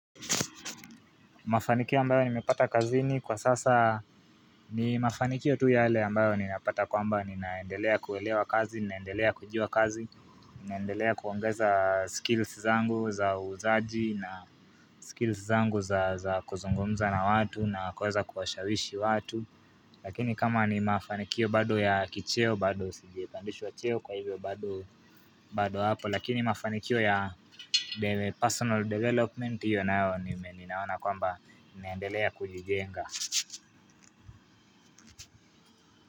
Mafanikio ambayo nimepata kazini kwa sasa ni mafanikio tu yale ambayo ninapata kwamba ninaendelea kuwelewa kazi, ninaendelea kujuwa kazi, ninaendelea kuongeza skills zangu za uzaji na skills zangu za kuzungumza na watu na kuweza kuwashawishi watu Lakini kama ni mafanikio bado ya kicheo bado sije pandishwa cheo kwa hivyo bado hapo lakini mafanikio ya personal development hiyo nayo ninaona kwamba niendelea kujijenga.